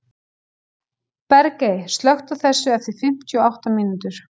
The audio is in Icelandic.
Bergey, slökktu á þessu eftir fimmtíu og átta mínútur.